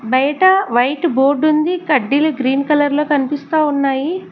బయిట white board ఉంది కడ్డీలు green colour లో కనిపిస్తా ఉన్నాయి.